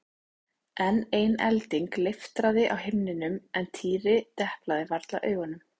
Enn ein elding leiftraði á himninum en Týri deplaði varla augunum.